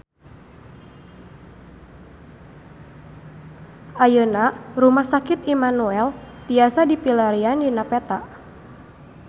Ayeuna Rumah Sakit Immanuel tiasa dipilarian dina peta